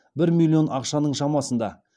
бір миллион ақшаның шамасында